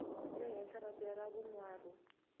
le henhla papila ra vunharhu